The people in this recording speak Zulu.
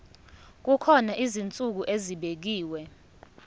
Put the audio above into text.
kukhona izinsuku ezibekiwe